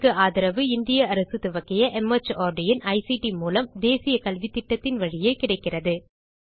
இதற்கு ஆதரவு இந்திய அரசு துவக்கிய மார்ட் இன் ஐசிடி மூலம் தேசிய கல்வித்திட்டத்தின் வழியே கிடைக்கிறது